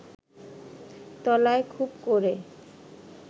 তলায় খুব করে